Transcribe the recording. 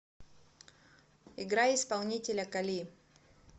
играй исполнителя кали